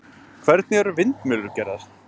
Hvernig eru vindmyllur gerðar?